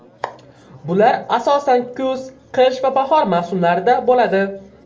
Bular asosan kuz, qish va bahor mavsumlarida bo‘ladi.